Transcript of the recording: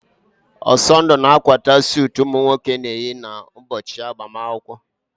Ọsọndụ na-akwata suutu ụmụ nwoke na-eyi ụbọchị agbamakwụkwọ.